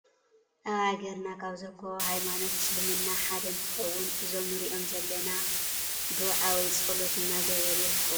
አብ ሃገርና ካብ ዝርከቡ ሃይመኖት እሰልምና ሐደእንትከውን እዞም ንርኦም ዘለና ዶዓ ወይ ፀሎት እናገበሩ ይርከቡ ።አብ ከባቢኩም እሰልምና አለው ዶ?